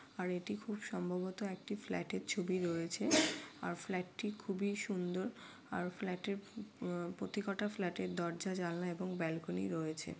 আর এটি খুব সম্ভবত একটা ফ্ল্যাট এর ছবি রয়েছে। আর ফ্ল্যাট টি খুবই সুন্দর। আর ফ্ল্যাট এর উম প্রতি কটা ফ্ল্যাট এর দরজা জানালা এবং ব্যালকনি রয়েছে।